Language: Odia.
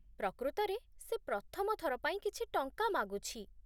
ପ୍ରକୃତରେ, ସେ ପ୍ରଥମ ଥର ପାଇଁ କିଛି ଟଙ୍କା ମାଗୁଛି